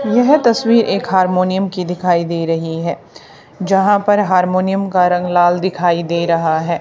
यह तस्वीर एक हारमोनियम की दिखाई दे रही है यहां पर हारमोनियम का रंग लाल दिखाई दे रहा है।